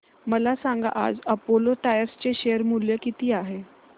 मला सांगा आज अपोलो टायर्स चे शेअर मूल्य किती आहे